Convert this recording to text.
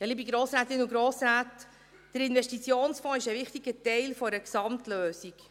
Ja, liebe Grossrätinnen und Grossräte, der Investitionsfonds ist ein wichtiger Teil einer Gesamtlösung.